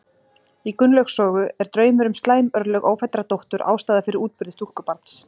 Í Gunnlaugs sögu er draumur um slæm örlög ófæddrar dóttur ástæða fyrir útburði stúlkubarns.